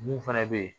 Mun fana bɛ yen